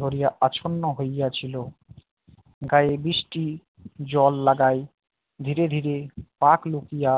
ধরিয়া আচ্ছন্ন হইয়াছিল গায়ে বৃষ্টি জল লাগায় ধীরে ধীরে পাক লুকিয়ে